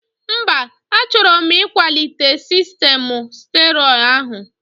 Mba, achọrọ m ịkwalite sistemụ sterio áhụ̀